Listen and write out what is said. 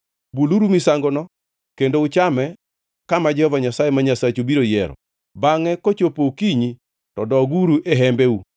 Buluru misangono kendo uchame kama Jehova Nyasaye ma Nyasachu biro yiero. Bangʼe kochopo okinyi to doguru e hembeu.